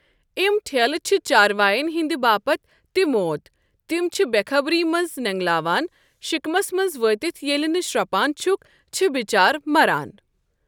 اِم ٹھیلہِ چھِ چاروایَن ہِنٛدِ باپَتھ تہِ موت تِم چھِ بٮ۪خبری منٛز نٮ۪نٛگلاوان شِکمَس منٛز وٲتِتھ ییٚلہٕ نہٕ شرٛپان چھِکھ چھِ بِچارٕ مَران۔